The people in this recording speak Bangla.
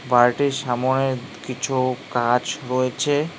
বাড়িটির সামোনে কিছু গাছ রয়েছে।